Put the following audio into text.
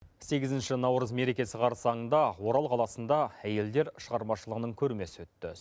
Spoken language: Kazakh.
сегізінші наурыз мерекесі қарсаңында орал қаласында әйелдер шығармашылығының көрмесі өтті